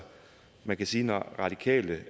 man kan sige at når radikale